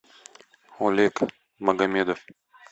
олег магомедов